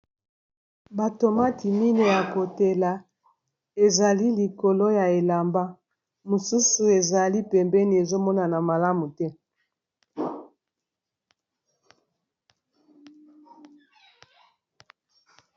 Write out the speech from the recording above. batomate mine ya kotela ezali likolo ya elamba mosusu ezali pembeni ezomonana malamu te